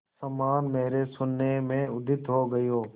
समान मेरे शून्य में उदित हो गई हो